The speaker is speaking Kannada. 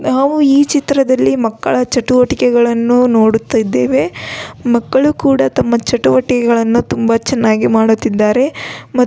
ನಾವು ಈ ಚಿತ್ರದಲ್ಲಿ ಮಕ್ಕಳ ಚಟುವಟಿಕೆಗಳನ್ನು ನೋಡುತ್ತಿದ್ದೇವೆ ಮಕ್ಕಳು ಕೂಡ ತಮ್ಮ ಚಟುವಟಿಕೆಗಳನ್ನು ತುಂಬಾ ಚನ್ನಾಗಿ ಮಾಡುತ್ತಿದ್ದಾರೆ ಮತ್ತು --